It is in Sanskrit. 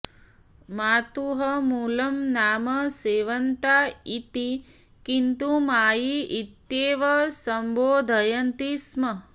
मातुः मूलं नाम शेवन्ता इति किन्तु मायी इत्येव सम्बोधयन्ति स्म